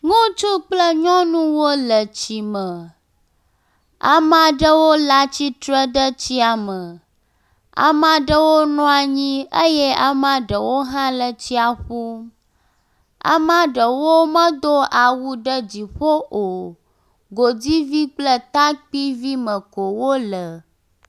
ŋutsu kple nyɔnuwo le tsime amaɖewo la tsitre ɖe etsia me ameɖewo nɔnyi eye amaɖewo hã le tsia ƒum ama ɖewo medó awu ɖe dziƒo o godivi kple takpivi me ko wóle